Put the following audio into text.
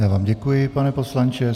Já vám děkuji, pane poslanče.